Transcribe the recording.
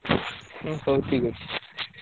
ହୁଁ ହଉ ଠିକ୍ ଅଛି।